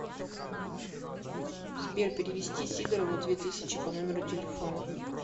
сбер перевести сидорову две тысячи по номеру телефона